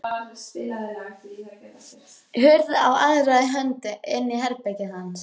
Hurð á aðra hönd inn í herbergið hans.